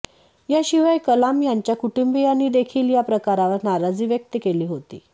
या शिवाय कलाम यांच्या कुटुंबीयांनीदेखील या प्रकारावर नाराजी व्यक्त केली होती